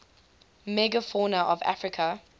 megafauna of africa